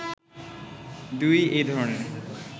২ এই ধরনের